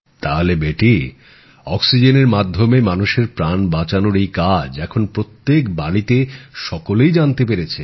তাহলে বেটি অক্সিজেনের মাধ্যমে মানুষের প্রাণ বাঁচানোর এই কাজ এখন প্রত্যেক বাড়িতে সকলেই জানতে পেরেছে